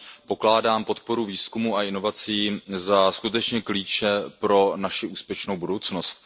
Pokládám podporu výzkumu a inovací za skutečné klíče pro naši úspěšnou budoucnost.